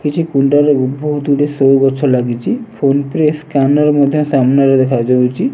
କିଛି ବହୁତ୍ ଗୁଡ଼ିଏ ସୋ ଗଛ ଲାଗିଚି ଫୋନ ପେ ସ୍କ୍ୟାନର ମଧ୍ୟ ସାମ୍ନାରେ ଦେଖା ଯାଉଚି।